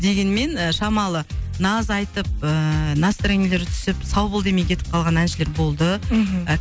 дегенмен шамалы наз айтып ыыы настроениелері түсіп сау бол демей кетіп қалған әншілер болды мхм